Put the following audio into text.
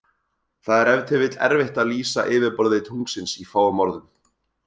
Það er ef til vill erfitt að lýsa yfirborði tunglsins í fáum orðum.